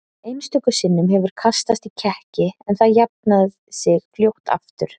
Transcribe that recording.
Einstöku sinnum hefur kastast í kekki en það jafnað sig fljótt aftur.